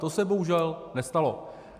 To se bohužel nestalo.